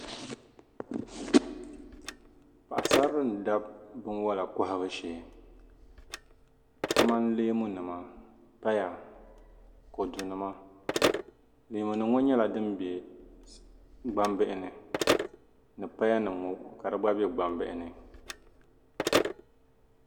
paɣisarili n-dabi binwala kɔhibu shee kamani leemunima paya kɔdunima leemunima ŋɔ nyɛla din be gbambihi ni ni payanima ka di gba be gbambihi ni